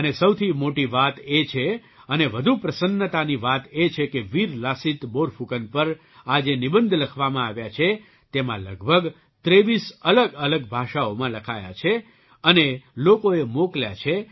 અને સૌથી મોટી વાત એ છે અને વધુ પ્રસન્નતાની વાત એ છે કે વીર લાસિત બોરફૂકન પર આ જે નિબંધ લખવામાં આવ્યા છે તેમાં લગભગ ૨૩ અલગઅલગ ભાષાઓમાં લખાયા છે અને લોકોએ મોકલ્યા છે